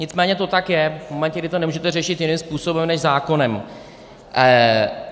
Nicméně to tak je v momentě, kdy to nemůžete řešit jiným způsobem než zákonem.